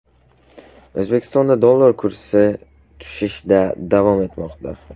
O‘zbekistonda dollar kursi tushishda davom etmoqda.